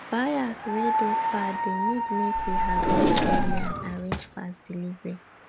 buyers wey dey far dey need make we harvest early and arrange fast delivery